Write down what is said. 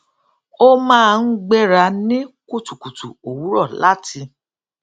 ó máa ń gbéra ní kùtùkùtù òwúrò láti